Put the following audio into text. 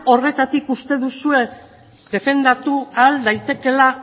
horretatik uste duzue defendatu ahal daitekeela